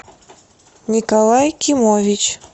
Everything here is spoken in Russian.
николай кимович